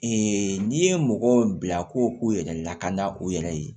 n'i ye mɔgɔw bila ko k'u yɛrɛ lakana u yɛrɛ ye